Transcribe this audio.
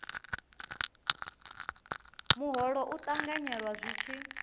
muholo u ṱanganyelwa zwi tshi